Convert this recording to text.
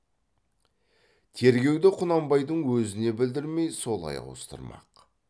тергеуді құнанбайдың өзіне білдірмей солай ауыстырмақ